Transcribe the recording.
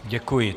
Děkuji.